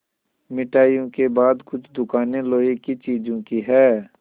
मिठाइयों के बाद कुछ दुकानें लोहे की चीज़ों की हैं